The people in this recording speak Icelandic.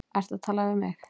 Ertu að tala við mig?